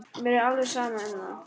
Mér er alveg sama um það.